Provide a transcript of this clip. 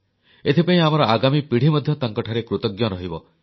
ଏଥିପାଇଁ ଆମର ଆଗାମୀ ପିଢ଼ି ମଧ୍ୟ ତାଙ୍କଠାରେ କୃତଜ୍ଞ ରହିବ